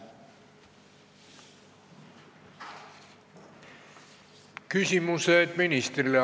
Küsimused ministrile.